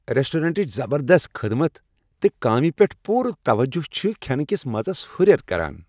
رؠسٹرونٹٕچ زبردست خدمت تہٕ کامِہ پیٹھ پورٕ توجہ چھ کھینہٕ کِس مزس اہُریر کران۔